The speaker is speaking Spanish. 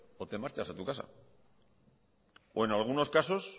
o te marchas a tu casa o en algunos casos